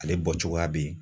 Ale bɔ cogoya bɛ ye.